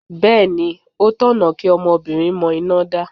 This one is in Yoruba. Bẹ́ẹ̀ni, ó tọ̀nà kí ọmọbìnrin mọ iná dá.